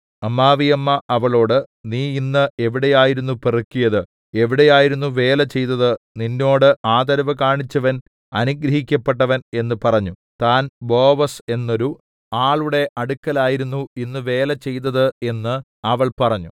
അമ്മാവിയമ്മ അവളോടു നീ ഇന്ന് എവിടെയായിരുന്നു പെറുക്കിയത് എവിടെയായിരുന്നു വേല ചെയ്തത് നിന്നോട് ആദരവ് കാണിച്ചവൻ അനുഗ്രഹിക്കപ്പെട്ടവൻ എന്ന് പറഞ്ഞു താൻ ബോവസ് എന്നൊരു ആളുടെ അടുക്കലായിരുന്നു ഇന്ന് വേല ചെയ്തത് എന്നു അവൾ പറഞ്ഞു